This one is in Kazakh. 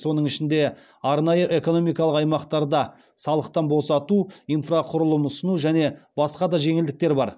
соның ішінде арнайы экономикалық аймақтарда салықтан босату инфрақұрылым ұсыну және басқа да жеңілдіктер бар